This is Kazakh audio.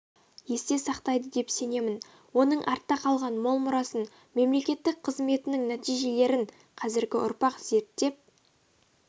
есте сақтайды деп сенемін оның артта қалған мол мұрасын мемлекеттік қызметінің нәтижелерін қазіргі ұрпақ зерттеп